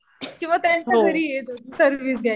किंवा त्यांच्या घरी येत होते सर्व्हिस द्यायला.